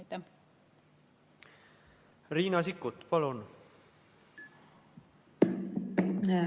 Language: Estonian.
Riina Sikkut, palun!